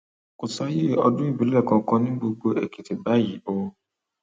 kò sáàyé ọdún ìbìlẹ kankan ní gbogbo èkìtì báyìí o